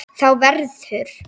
Þá verður